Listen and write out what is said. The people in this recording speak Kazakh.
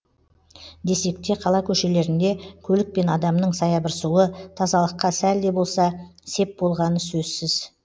десек те қала көшелерінде көлік пен адамның саябырсуы тазалыққа сәл де болса сеп болғаны сөзсіз